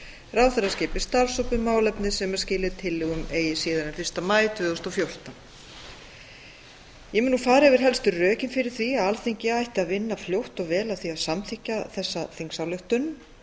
ráðherra skipi starfshóp um málefnið sem skili tillögum eigi síðar en fyrsta maí tvö þúsund og fjórtán ég mun nú fara yfir helstu rökin fyrir því að alþingi ætti að vinna fljótt og vel að því að samþykkja þessa þingsályktun